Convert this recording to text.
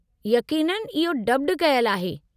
यक़ीननि, इहो डब्ड कयलु आहे।